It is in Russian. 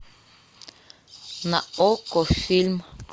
на окко фильм